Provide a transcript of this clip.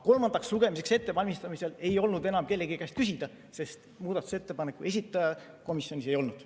Kolmandaks lugemiseks ettevalmistamisel ei olnud enam kellegi käest küsida, sest muudatusettepaneku esitaja komisjonis ei olnud.